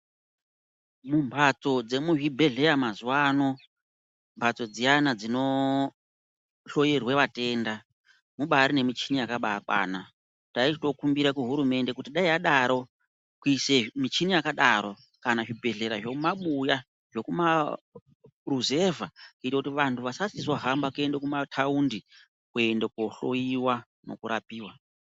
Mumphatso dzemuzvibhedhleya mazuwano mphatso dziyani dzinohloyirwa vatenda mubari nemichini yakabakwana taichitokumbira kuhurumende kuti dai yadaro kuise michini yakadaro kana zvibhedhlera zvomumabuya zvokumaruzevha kuite kuti vantu vachachizohamba kuende kumataundi kuende kohloyiwa nekurapiwa.